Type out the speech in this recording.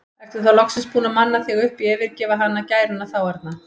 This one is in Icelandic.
Ertu þá loksins búinn að manna þig upp í að yfirgefa hana, gæruna þá arna?